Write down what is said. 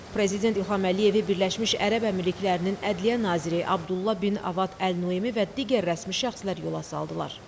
Prezident İlham Əliyevi Birləşmiş Ərəb Əmirliklərinin Ədliyyə naziri Abdullah bin Avad Əl-Nuaimi və digər rəsmi şəxslər yola saldılar.